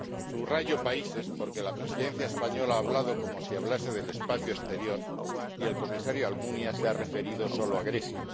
Subrayo países porque la Presidencia española ha hablado como si hablase del espacio exterior y el Comisario Almunia se ha referido solo a Grecia.